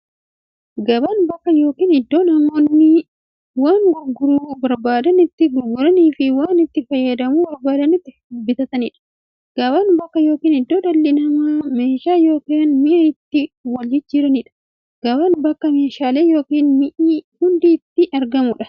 Gabaan bakka yookiin iddoo namoonni waan gurguruu barbaadan itti gurguraniifi waan itti fayyadamuu barbaadan itti bitataniidha. Gabaan bakka yookiin iddoo dhalli namaa meeshaa yookiin mi'a itti waljijjiiraniidha. Gabaan bakka meeshaaleen ykn mi'i hundi itti argamuudha.